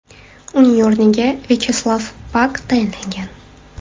Uning o‘rniga Vyacheslav Pak tayinlangan.